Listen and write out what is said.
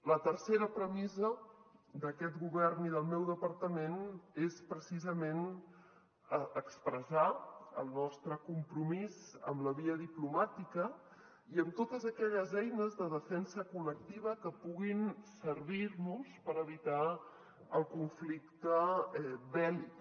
la tercera premissa d’aquest govern i del meu departament és precisament expressar el nostre compromís amb la via diplomàtica i amb totes aquelles eines de defensa col·lectiva que puguin servir nos per evitar el conflicte bèl·lic